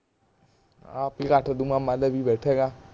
ਆਪ ਹੀ ਕੱਟ ਦੂੰਗਾ ਬੈਠੇ ਆ